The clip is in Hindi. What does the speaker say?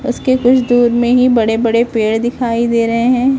उसके कुछ दूर में ही बड़े बड़े पेड़ दिखाई दे रहे हैं।